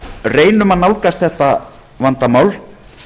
reynum að nálgast þetta vandamál